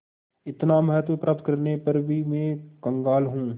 इतना महत्व प्राप्त करने पर भी मैं कंगाल हूँ